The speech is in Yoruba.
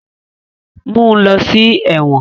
Mú ló sí èwòn.